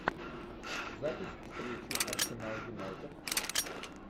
запись встречи арсенал юнайтед